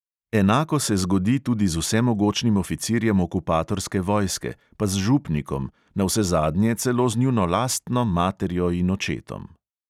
Enako se zgodi tudi z vsemogočnim oficirjem okupatorske vojske, pa z župnikom, navsezadnje celo z njuno lastno materjo in očetom.